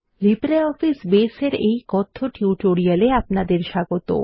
LibreOffice Base এর এই কথ্য টিউটোরিয়ালে আপনাদের স্বাগত